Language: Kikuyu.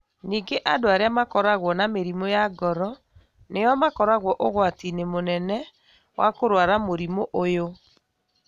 Ningĩ andũ arĩa makoragwo na mĩrimũ ya ngoro nĩo makoragwo ũgwati-inĩ mũnene wa kũrũara mũrimũ ũyũ.